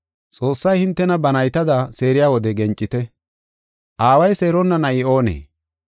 Xoossay hintena ba naytada seeriya wode gencite; Aaway seeronna na7i oonee?